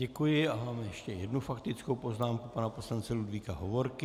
Děkuji a mám ještě jednu faktickou poznámku pana poslance Ludvíka Hovorky.